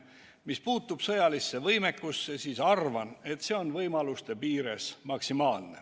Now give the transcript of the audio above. Mis puutub sõjalisse võimekusse, siis arvan, et see on võimaluste piires maksimaalne.